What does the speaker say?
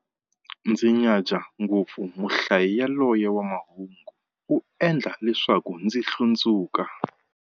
Ndzi nyadza ngopfu muhlayi yaloye wa mahungu, u endla leswaku ndzi hlundzuka.